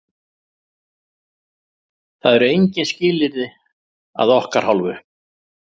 Það eru engin skilyrði að okkar hálfu.